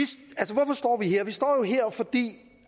her vi står her fordi